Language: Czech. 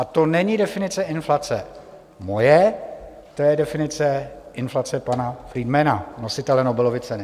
A to není definice inflace moje, to je definice inflace pana Friedmana, nositele Nobelovy ceny.